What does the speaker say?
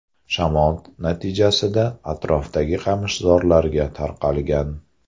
Shamol natijasida atrofdagi qamishzorlarga tarqalgan.